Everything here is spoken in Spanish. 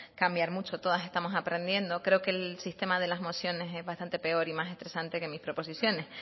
cambiar mucho todas estamos aprendiendo creo que el sistema de las mociones es bastante peor y más estresante que mis proposiciones